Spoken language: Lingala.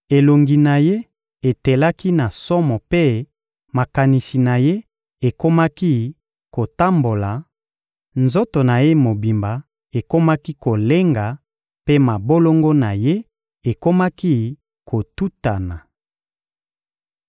elongi na ye etelaki na somo mpe makanisi na ye ekomaki kotambola, nzoto na ye mobimba ekomaki kolenga mpe mabolongo na ye ekomaki kotutana.